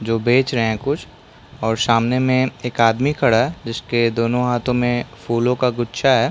जो बेच रहै है कुछ और सामने मे एक आदमी खड़ा है जिसके दोनों हाथो मे फूलो का गुच्छा है।